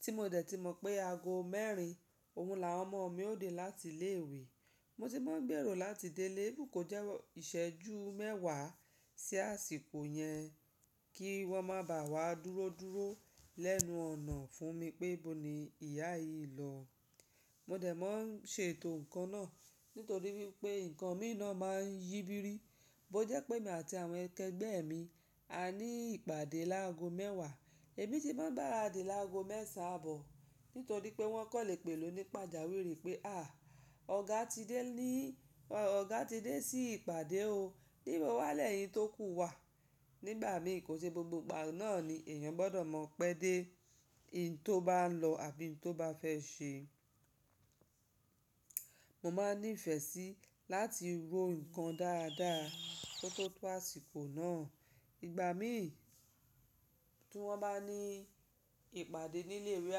tí mo dẹ̀ ti mọ̀ pé ago mẹ́rin òun làwọn ọmọ mi ó dè láti ilé ìwé, mo sì máa ń gbèrò láti dé even kò jẹ́ ìṣẹ́jú mẹ́wàá sí àsìkò yẹn kí wọ́n má bà wá dúró dúró lẹ́nu ọ̀nà fún mi pé ibo ni ìyá yìí lọ. Mo dẹ̀ máa ń ṣe ètò ǹkan náà, nítorí pé ǹkan mìíràn máa ń yí bírí. Bó jẹ́ pé èmi àti àwọn akẹgbẹ́ mi a ní ìpàdé lágo mẹ́wàá, èmi ti máa ń gbáradi lágo mẹ́ẹ̀sán àbọ̀. Nítorí pé wọ́n kan lè pè ló ní pajàwìrí pé à, ọ̀gá ti dé ní, ọ̀gá ti dé sí ìpàdé o. Nibo wá lẹ́yìn tó kù wà. Nígbà mí kò ṣe gbogbo ìgbà náà ni èèyàn gbọ́dọ̀ mọ̀ pé dé ì tí ó bá ń lọ àbí ì tí ó bá fẹ́ ṣe. Mo máa ń nífẹ̀ẹ́ síi láti ro ǹkan dáadáa tó tó tó àsìkò náà. Ìgbà mí tí wọ́n bá ní ìpàdé nílé ìwé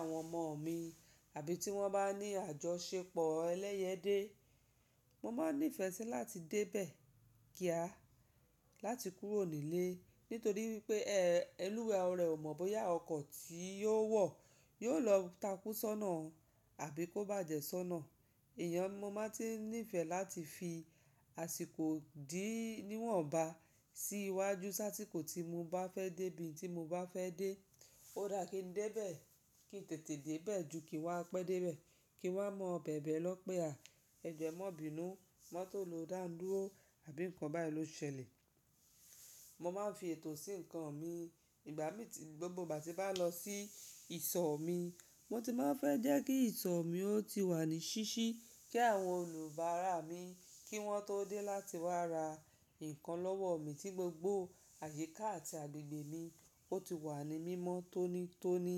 àwọn ọmọ mi àbí tí wọ́n bá ní àjọṣepọ̀ ẹlẹ́yẹdé, mo máa ń nífẹ̀ẹ́ síi láti dé bẹ̀ kíá láti kúrò nílé. Nítorí wipé ẹ́ olúwa rẹ́ ò mọ̀ bóyá ọkọ̀ tí yóò wọ̀ yóò lọ takú sọ́nà àbí kó bá jẹ́ sọ́nà. Ìyẹn mo máa ti n nífẹ̀ẹ́ láti fi àsìkò dí níwọ̀nba sí iwájú sásíkò tí mo bá fẹ́ dé bíi tí mo bá fẹ́ dé. Ó dáa kí n dé bẹ́ẹ̀ kí n tètè dé bẹ́ẹ̀ ju kí n wá pẹ́ dé bẹ́ẹ̀ kí n wá ma bẹ̀ẹ́bẹ̀ẹ́ lọ pé à, ẹ̀jo e mọ́ bìnú, mọ́tò lo dàǹ dúró àbí nǹkan báyìí ló ṣẹlẹ̀. Mo máa ń fi ètò sí ǹkan mi. Ìgbà mí tí gbogbo ìgbà tí n bá lọ sí ìsọ̀ mi, mo ti máa ń fẹ́ jẹ́ kí ìsọ̀ mi ó ti wà ní ṣíṣí, kí àwọn olùbáarà mi kí wọ́n tó dé láti wá ra ǹkan lọ́wọ́ mi tí gbogbo àyíká àti agbègbè mi ó ti wà ní mímọ́ tónítóní.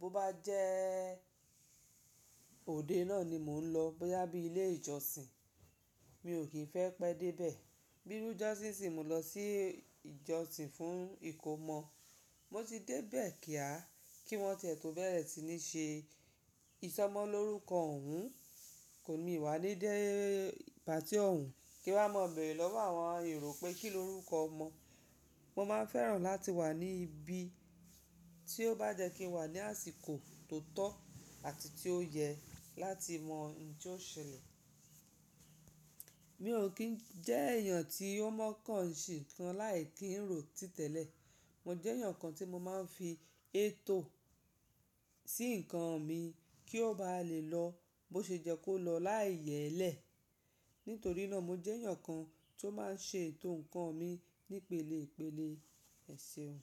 Bo bá jẹ́ òde náà ni mò ń lọ bóyá bí ilé ìjọsìn, mi ò kín fẹ́ pé dé bẹ́ẹ̀. Bírú jọ́sí sí i, mo lọ sí ìjọsìn fún ìkómọ, mo ti dé bẹ́ẹ̀ kíá kí wọ́n ti è tò bẹ̀rẹ̀ sí ni ṣe ìsọmọlórúkọ òun. Mí ì wà ní dé paty òun kí n wá ma bẹ̀rẹ̀ lọ́wọ́ àwọn èrò pé kíni orúkọ ọmọ. Mo máa ń fẹ́ràn láti wà ní ibi tí ó bá yẹ́ kí n wà ní àsìkò tó tọ́ àti tí ó yẹ láti mọ̀ ohun tí ó ṣẹlẹ̀. Mi ò kí n jẹ́ èèyàn tí ó ma káǹ ṣì ǹkan láì kí n rò ó tí tẹ́lẹ̀. Mo jẹ́ èèyàn kan tí mo máa ń fi ètò sí ǹkan mi kí ó bá lè lọ bó ṣe yẹ́ kó lọ láì yẹ́lẹ̀. Nítorí náà mo jẹ́ èèyàn kan tí ó máa ń ṣe ètò ǹkan mi nípele ìpele ẹsẹ̀ òun.